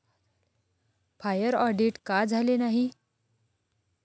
Fire audit का झाले नाही?